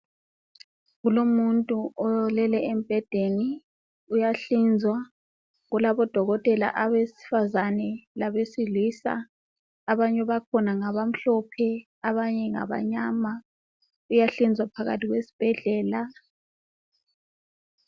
Kulomuntu olele embhedeni uyahlinzwa. Kulabo dokotela abesifazane labesilisa abanye bakhona ngabamhlophe abanye ngabamnyama. Uyahlinzwa phakathi kwesibhedlela.